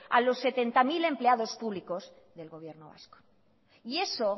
a los setenta mil empleados públicos del gobierno vasco y eso